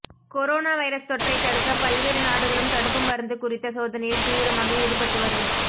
corona virus தொற்றை தடுக்க பல்வேறு நாடுகளும் தடுப்பு மருந்து குறித்த சோதனையில் தீவிரமாக ஈடுபட்டு வரும்